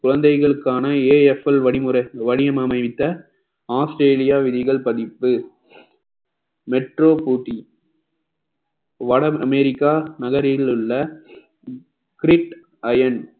குழந்தைகளுக்கான AFL வழிமு~ வணிகம் அமைத்த ஆஸ்திரேலியா விதிகள் பதிப்பு metro போட்டி வடஅமெரிக்கா நகரில் உள்ள grid iron